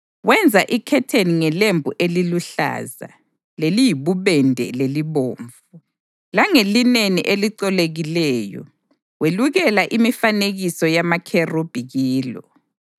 Wenza ikhetheni ngelembu eliluhlaza, leliyibubende lelibomvu, langelineni elicolekileyo, welukela imifanekiso yamakherubhi kilo.